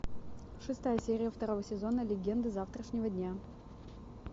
шестая серия второго сезона легенды завтрашнего дня